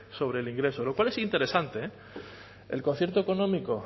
sobre el ingreso lo cual es interesante el concierto económico